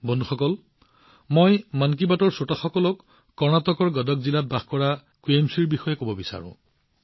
বন্ধুসকল মই কৰ্ণাটকৰ গদাক জিলাত বাস কৰা কুৱেমাশ্ৰী জীৰ বিষয়ে মন কী বাতৰ শ্ৰোতাসকলক অৱগত কৰিব বিচাৰো